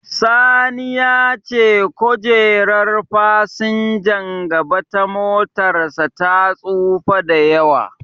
Sani ya ce kojerar fasinjan gaba ta motarsa ta tsufa da yawa.